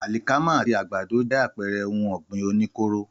Àlìkámà àti àgbàdo jẹ́ àpẹrẹ ohun ọ̀gbìn oní kóóró